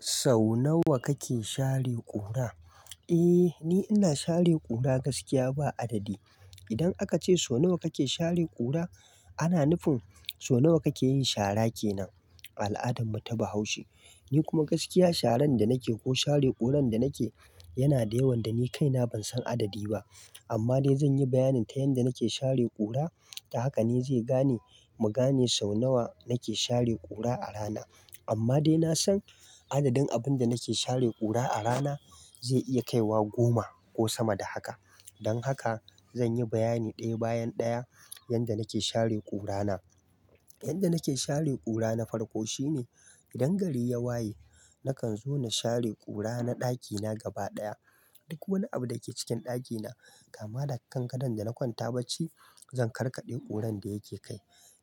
Sau nawa kake share ƙura? Eh, ni ina share ƙura gaskiya ba adadi. Idan aka ce sau nawa kake share ƙura, ana nufin sau nawa kake yin shara kenan. Al'adan mu taba haushe. Ni kuma gaskiya sharan da nake ko share ƙuran da nake yana da yawan da ni kaina ban san adadi ba. Amma dai zan yi bayanin ta yanda nake share ƙura, ta haka ne zai gane mugane sau nawa nake share ƙura a rana. Amma dai na san adadin abun da nake share ƙura a rana zai iya kaiwa goma ko sama da haka. Don haka zan yi bayani ɗaya bayan ɗaya yanda nake share ƙura na. Yanda nake share ƙura na farko shine idan gari ya waye nakan zo na share ƙura na ɗakina gaba ɗaya. Duk wani abu da ke cikin ɗakina kama daga kangadon da na kwanta bacci, zan karkaɗe ƙuran da yake kai.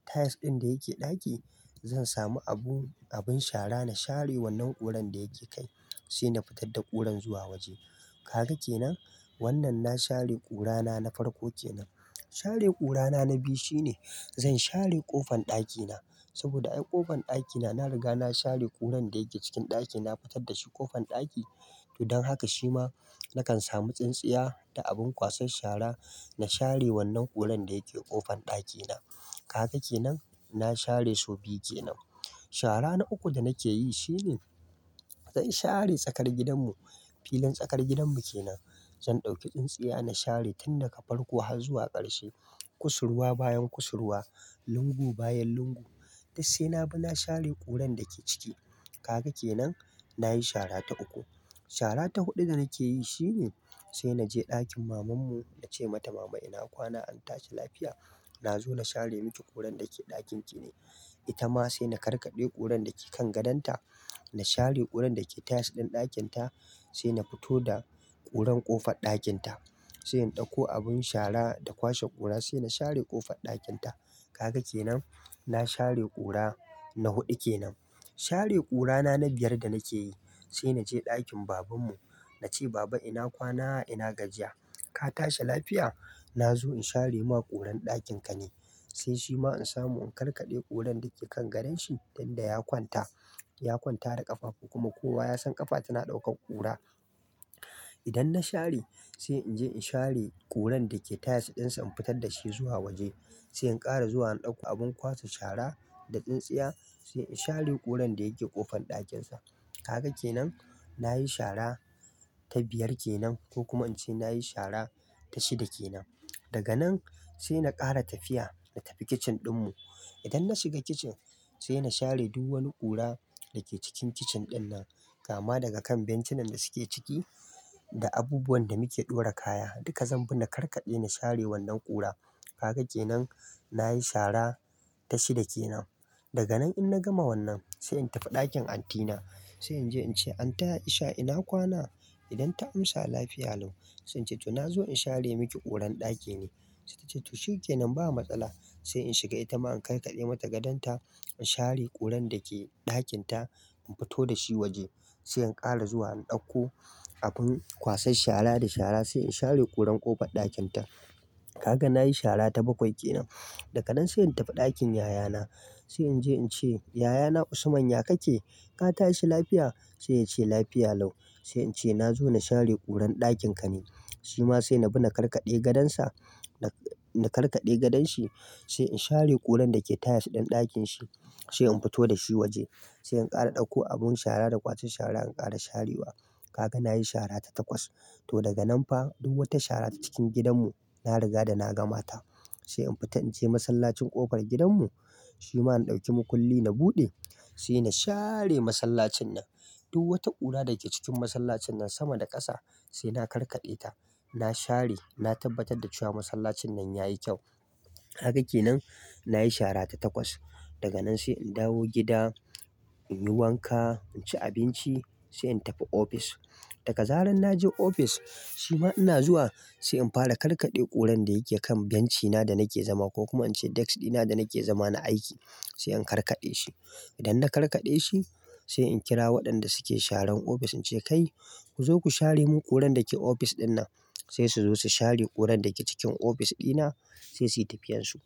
Tiles ɗin da yake ɗaki zan samu abu-abun shara na share wannan ƙuran da yake kai sai na fitar da ƙuran zuwa waje. Kaga kenan? Wannan na share ƙura na na farko kenan. Share ƙura na na biyu shine zan share ƙofan ɗakina saboda ai ƙofan ɗakina na riga na share ƙuran da yake cikin ɗaki na fitar da shi ƙofan ɗaki. To don haka shi ma nakan samu tsintsiya da abin kwasan shara, na share wannan ƙuran da yake ƙofan ɗakina. Kaga kenan? Na share sau biyu kenan. Shara na uku da nake yi shine zan share tsakar gidanmu. Filin tsakar gidanmu kenan. Zan ɗauki tsintsiya na share tun daga farko har zuwa ƙarshe. Kusurwa bayan kusurwa, lungu bayan lungu. Duk sai na bi na share ƙuran da ke ciki. Kaga kenan? Na yi shara ta uku. Shara ta huɗu da nake yi shine sai na je ɗakin mamanmu na ce mata "mama ina kwana, an tashi lafiya? Na zo na share miki ƙuran da ke ɗakin ki ne." Ita ma sai na karkaɗe ƙuran da ke kan gadonta, na share ƙuran da ke tiles ɗin ɗakin ta sai na fito da ƙuran ƙofar ɗakin ta. Sai in ɗauko abun shara da kwashe ƙura sai na share ƙofar ɗakin ta. Kaga kenan? Na share ƙura na huɗu kenan. Share ƙura na na biyar da nake yi, sai na je ɗakin babanmu na ce "baba ina kwana, ina gajiya. Ka tashi lafiya? Na zo in share ma ƙuran ɗakin ka ne." Sai shi ma in samu in karkaɗe ƙuran da ke kan gadon shi, tun da ya kwanta. Ya kwanta da ƙafafu kuma kowa ya san ƙafa tana ɗaukar ƙura. Idan na share, sai in je in share ƙuran da ke tiles ɗin sa in fitar da shi zuwa waje. Sai in ƙara zuwa in ɗauko abin ƙwasa shara da tsintsiya sai in share ƙuran da yake ƙofan ɗakin sa. Kaga kenan? Na yi shara ta biyar kenan ko kuma in ce na yi shida kenan. Daga nan sai na ƙara tafiya na tafi kicin ɗin mu. Idan na shiga kicin sai na share duk wani ƙura da ke cikin kicin ɗin nan kama daga kan benci nan da suke ciki da abubuwan da muke ɗora kaya. Duka zan bi na karkade, na share wannan ƙura. Kaga kenan? Na yi shara ta shida kenan. Daga nan in na gama wannan sai in tafi ɗakin auntyna. Sai in je in ce "Aunty Aisha ina kwana?" Idan ta amsa "Lafiya lau." Sai in ce "to na zo in share miki ƙuran ɗaki ne." Sai ta ce "to shin ke nan ba matsala." Sai in shiga ita ma in karkaɗe mata gadon ta, in share ƙuran da ke ɗakin ta, in fito da shi waje. Sai in ƙara zuwa in ɗauko abun kwasan shara da shara sai in share ƙuran ƙofar ɗakin ta. Kaga na yi shara ta bakwai kenan. Daga nan sai in tafi ɗakin yayana. Sai in je in ce "yayana Usman ya kake? Ka tashi lafiya?" Sai ya ce "Lafiya lau." Sai in ce "na zo na share ƙuran ɗakin ka ne." Shi ma sai na bi na karkaɗe gadon sa, na-na karkaɗe gadon shi sai in share ƙuran da ke tiles ɗin ɗakin shi sai in fito da shi waje. Sai in ƙara ɗauko abun shara da kwasan shara, in ƙara share wa. Kaga na yi shara ta takwas. To daga nan fa duk wata shara ta cikin gidanmu na riga da na gama ta. Sai in fita in je masallacin ƙofar gidanmu. Shi ma in ɗauki mukulli na buɗe sai na share masallacin nan. Duk wata ƙura da ke cikin masallacin nan sama da ƙasa sai na karkaɗe ta. Na share, na tabbatar da cewa masallacin nan ya yi kyau. Kaga ke nan, na yi shara ta takwas. Daga nan sai in dawo gida, in yi wanka, in ci abinci sai in tafi ofis. Daga zaran na je ofis, shi ma ina zuwa sai in fara karkaɗe ƙuran da yake kan bencina da nake zama ko kuma in ce desk ɗina da nake zama na aiki sai in karkaɗe shi. Idan na karkade shi sai in kira waɗanda suke sharan ofis in ce "kai ku zo ku share mun ƙuran da ke ofis ɗin nan." Sai su zo su share ƙurar da ke cikin ofis ɗina sai su yi tafiyar su.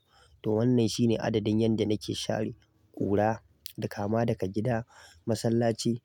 To wannan shine adadin yanda nake share ƙura da kama daga gida, masallaci.